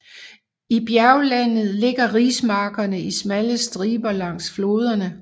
I bjerglandet ligger rismarkerne i smalle striber langs floderne